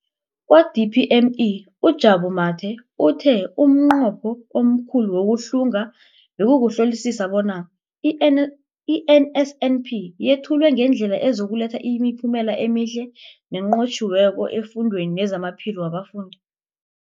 Kwa-DPME, uJabu Mathe, uthe umnqopho omkhulu wokuhlunga bekukuhlolisisa bona i-NSNP yethulwa ngendlela ezokuletha imiphumela emihle nenqotjhiweko efundweni nezamaphilo wabafundi.